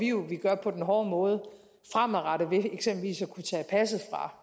jo at gøre på den hårde måde fremadrettet ved eksempelvis at kunne tage passet fra